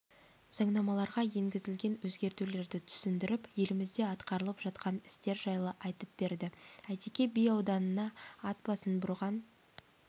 заңнамаларға енгізілген өзгертулерді түсіндіріп еліміздеатқарылып жатқан істер жайлы айтып берді әйтеке би ауданына атбасын бұрған